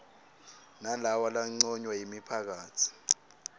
nalawa lanconywa yimiphakatsi